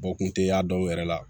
kun tɛ y'a dɔw yɛrɛ la